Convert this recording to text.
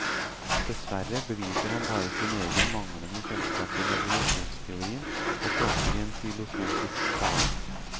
Dessverre beviser han bare sin egen manglende kjennskap til evolusjonsteorien, og tråkker i en filosofisk salat.